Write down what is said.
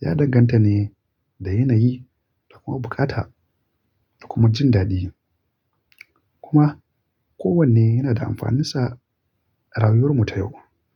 ya danganta ne da yanayi da kuma buƙata da kuma jin daɗi. Kuma kowanne yana da amfaninsa a rayuwar mu ta yau.